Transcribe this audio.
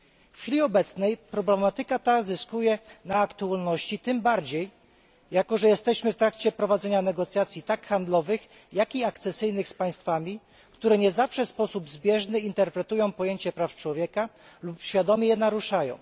W chwili obecnej problematyka ta zyskuje na aktualności, tym bardziej jako że jesteśmy w trakcie prowadzenia negocjacji tak handlowych, jak i akcesyjnych z państwami, które nie zawsze w sposób zbieżny interpretują pojecie praw człowieka lub świadomie je naruszają.